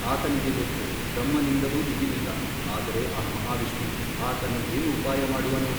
ಆತನಿಗೆ ಗೊತ್ತು ಬ್ರಹ್ಮನಿಂದಲೂ ದಿಗಿಲಿಲ್ಲ ಆದರೆ ಆ ಮಹಾವಿಷ್ಣು ಆತನು ಏನು ಉಪಾಯಮಾಡುವನೋ ?